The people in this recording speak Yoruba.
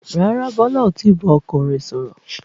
Rárá, Bọlá ò tí bá ọkọ rẹ sọ̀rọ̀